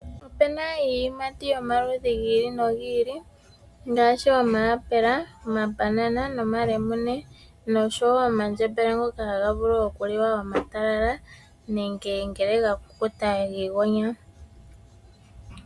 Opena iiyimati yomaludhi gi ili nogi ili ngaashi omaapela, omalemune nomabanana nosho woo omandjembele ngoka taga vulu okuliwa omatalala nenge ngele ga kukuta giigonya.